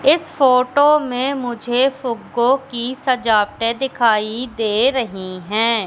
इस फोटो में मुझे फूग्गों की सजावटे दिखाई दे रही है।